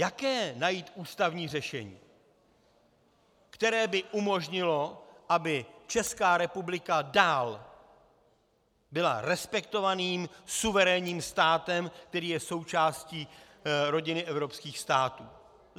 Jaké najít ústavní řešení, které by umožnilo, aby Česká republika dál byla respektovaným suverénním státem, který je součástí rodiny evropských států?